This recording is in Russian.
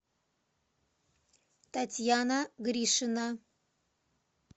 татьяна гришина